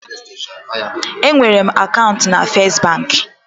Enwere m akaụntụ na First banki.